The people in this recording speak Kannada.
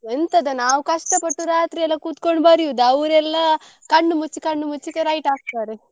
ಎಂತದ ನಾವು ಕಷ್ಟ ಪಟ್ಟು ರಾತ್ರಿ ಎಲ್ಲ ಕುತ್ಕೊಂಡು ಬರಿಯುದ ಅವ್ರೆಲ್ಲ ಕಣ್ಣು ಮುಚ್ಚಿ ಕಣ್ಣು ಮುಚ್ಚಿ right ಹಾಕ್ತಾರೆ.